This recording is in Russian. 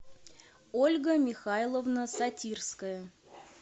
ольга михайловна сатирская